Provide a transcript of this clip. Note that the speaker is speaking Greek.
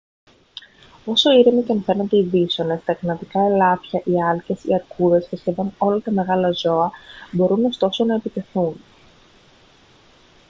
όσο ήρεμοι και αν φαίνονται οι βίσωνες τα καναδικά ελάφια οι άλκες οι αρκούδες και σχεδόν όλα τα μεγάλα ζώα μπορούν ωστόσο να επιτεθούν